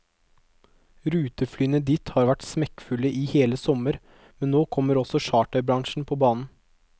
Ruteflyene dit har vært smekkfulle i hele sommer, men nå kommer også charterbransjen på banen.